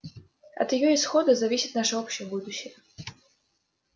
от её исхода зависит наше общее будущее